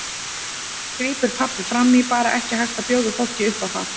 grípur pabbi fram í, bara ekki hægt að bjóða fólki upp á það.